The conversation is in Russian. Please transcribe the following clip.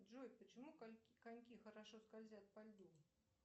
джой почему коньки хорошо скользят по льду